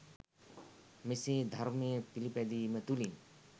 මෙසේ ධර්මය පිළිපැදීම තුළින්